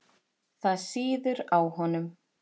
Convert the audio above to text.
Það sýður á honum.